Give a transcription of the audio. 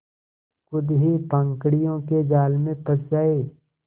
खुद ही पाखंडियों के जाल में फँस जाए